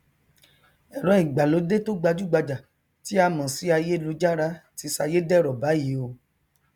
ẹrọ ìgbàlódé tó gbajúgbajà tí à mọ sí aiyélujára ti sayédẹrọ báyìí o